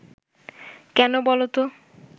কেন বলো তো